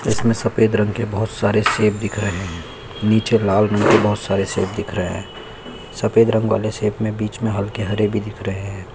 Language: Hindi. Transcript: इसमें सफेद रंग के बहुत सारे सेब दिख रहे है नीचे लाल रंग के बहुत सारे सेब दिख रहे है सफ़ेद रंग वाले सेब में बीच में हल्के हरे भी दिख रहे है।